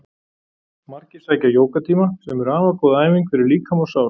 Margir sækja jógatíma sem eru afar góð æfing fyrir líkama og sál.